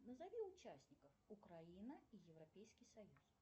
назови участников украина и европейский союз